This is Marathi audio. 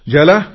ज्याला पी